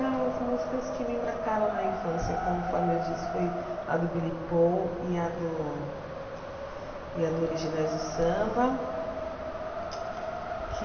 As músicas que me marcaram na infância, conforme eu disse, foi a do Billy Paul e a do... e a do Originais do Samba, que...